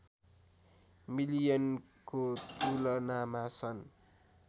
मिलियनको तुलनामा सन्